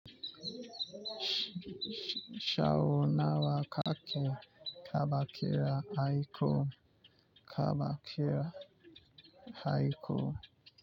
Sau nawa ka ke kaɓa ƙira a iko? Taɓa ƙira aiko.